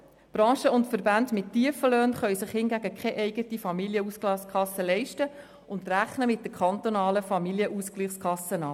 Branchen und Verbände mit tiefen Löhnen können sich hingegen keine eigene Familienausgleichskasse leisten und rechnen mit der kantonalen Familienausgleichskasse ab.